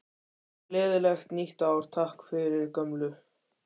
Gleðilegt nýtt ár- Takk fyrir gömlu!